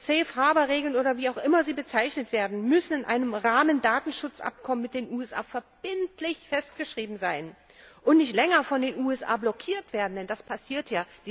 Safe Harbour Regeln, oder wie auch immer sie bezeichnet werden, müssen in einem Rahmendatenschutzabkommen mit den USA verbindlich festgeschrieben sein und nicht länger von den USA blockiert werden, denn das passiert ja.